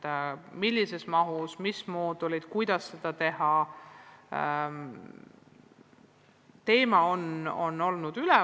Ei ole otsustatud, millises mahus ja mis moodulid täienduskoolituseks tulevad, kuidas kõike seda teha.